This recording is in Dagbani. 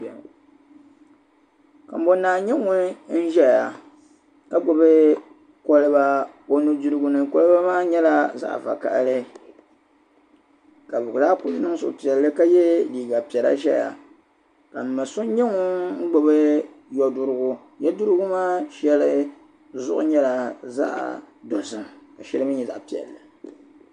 kambonaa n-nyɛ ŋun zaya ka gbubi koliba o nu'dirigu ni koliba maa nyɛla zaɣ'vakahili ka muɣi laa kuli niŋ suhupiɛlli ka yɛ liiga piɛla zaya ka mma so ŋun gbubi yo dirigu yo dirigu maa shɛli zuɣu nyɛla zaɣ'dozim ka shɛli mii nyɛ zaɣ'piɛlli